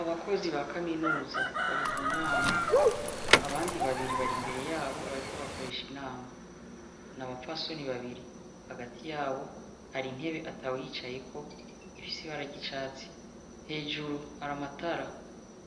Abakozi bakaminuza bari munama abandi babiri bar'imbere yabo bariko bakoresha Inama n'abapfasoni bàbiri hagati yabo har'intebe atawuyicayeko ifise ibara ry'icatsi hejuru har'amatara